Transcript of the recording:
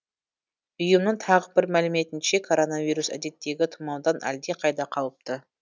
ұйымның тағы бір мәліметінше коронавирус әдеттегі тұмаудан әлдеқайда қауіпті